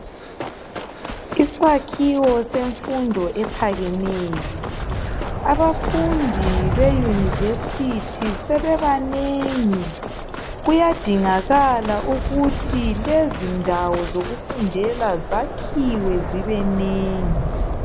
Isakhiwo semfundo ephakemeyo, abafundi be university sebebanengi kuyadingakala ukuthi lezindaeo zokufundela zakhiwe zibenengi